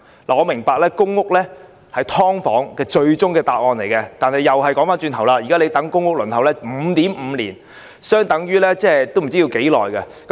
我明白公屋是"劏房"問題的最終答案，但話說回頭，現時公屋的輪候時間長達 5.5 年，其實真的不知要等多久。